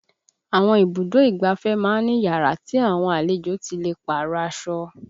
Àwọn ibùdó ìgbáfẹ́ máa ń ní yàrá tí àwọn àlejò ti lè párọ̀ aṣọ